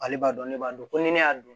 Ale b'a dɔn ne b'a dɔn ko ni ne y'a dun